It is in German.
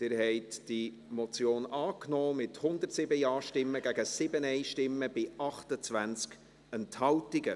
Sie haben diese Motion angenommen, mit 107 Ja- gegen 7 Nein-Stimmen bei 28 Enthaltungen.